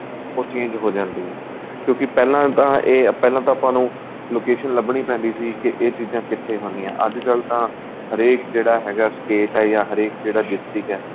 ਉਹ change ਹੋ ਜਾਂਦੀ ਏ ਕਿਉਂਕਿ ਪਹਿਲਾਂ ਤਾਂ ਏ ਪਹਿਲਾਂ ਤਾਂ ਆਪਾਂ ਨੂੰ location ਲੱਭਣੀ ਪੈਂਦੀ ਸੀ ਕੇ ਏ ਚੀਜਾਂ ਕਿਥੇ ਹੁੰਣੀਆਂ ਅੱਜ ਕੱਲ ਤਾਂ ਹਰੇਕ ਜਿਹੜਾ ਹੈਗਾ ਏ state ਏ ਜਾਂ ਹਰੇਕ ਜਿਹੜਾ district ਏ